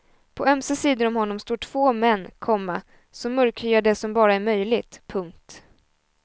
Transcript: På ömse sidor om honom står två män, komma så mörkhyade som bara är möjligt. punkt